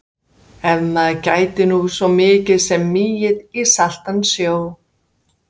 Ef maður gæti nú svo mikið sem migið í saltan sjó.